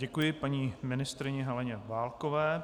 Děkuji paní ministryni Heleně Válkové.